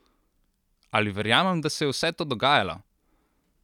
Ali verjamem, da se je vse to dogajalo?